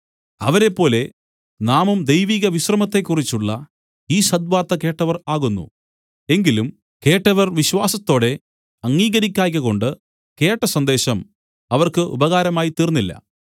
അവരെപ്പോലെ നാമും ദൈവിക വിശ്രമത്തെക്കുറിച്ചുള്ള ഈ സദ് വാർത്ത കേട്ടവർ ആകുന്നു എങ്കിലും കേട്ടവർ വിശ്വാസത്തോടെ അംഗീകരിക്കായ്കകൊണ്ട് കേട്ട സന്ദേശം അവർക്ക് ഉപകാരമായി തീർന്നില്ല